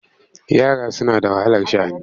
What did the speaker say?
Yara suna da wahalar sha'ani.